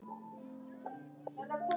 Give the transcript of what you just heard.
Bundnir sjóðir, sjá sjóðir